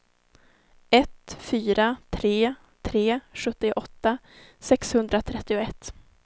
ett fyra tre tre sjuttioåtta sexhundratrettioett